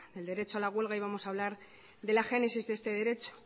del derecho a la huelga y vamos a hablar de la génesis de este derecho